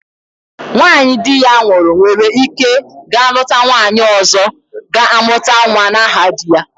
Nwanyị di ya nwụrụ nwere ike ga-lụta nwanyi ọzọ ga-amụta nwa n'aha di ya.